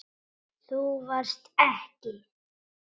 Þú varst ekki.